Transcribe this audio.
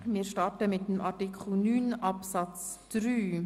Wir beginnen mit Artikel 9 Absatz 3.